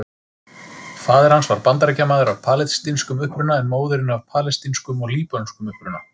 Faðir hans var Bandaríkjamaður af palestínskum uppruna en móðirin af palestínskum og líbönskum uppruna.